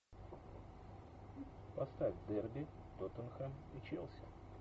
поставь дерби тоттенхэм и челси